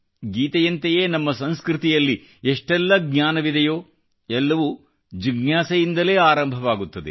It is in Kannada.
ಗೀತೆಯಂತೆಯೇ ನಮ್ಮ ಸಂಸ್ಕೃತಿಯಲ್ಲಿ ಎಷ್ಟೆಲ್ಲ ಜ್ಞಾನವಿದೆಯೋ ಎಲ್ಲವೂ ಜಿಜ್ಞಾಸೆಯಿಂದಲೇ ಆರಂಭವಾಗುತ್ತದೆ